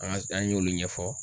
An ka an y'olu ɲɛfɔ.